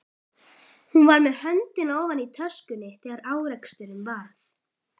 Hún var með höndina ofan í töskunni þegar áreksturinn varð.